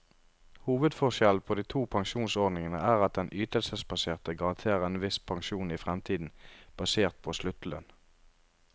Hovedforskjellen på de to pensjonsordningene er at den ytelsesbaserte garanterer en viss pensjon i fremtiden, basert på sluttlønn.